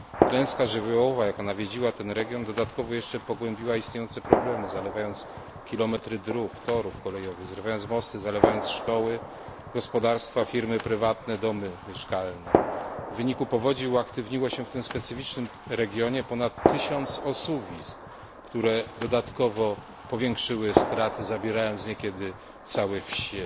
Klęska żywiołowa, jaka nawiedziła ten region, dodatkowo pogłębiła jeszcze istniejące problemy, zalewając kilometry dróg, torów kolejowych, zrywając mosty, zalewając szkoły, gospodarstwa, firmy prywatne, domy mieszkalne. W wyniku powodzi uaktywniło się w tym specyficznym regionie ponad tysiąc osuwisk, które dodatkowo powiększyły straty, zabierając niekiedy całe wsie.